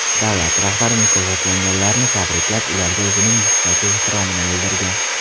Davlat rahbari mukofotlanganlarni tabriklab, ularga o‘zining yuksak ehtiromini bildirgan.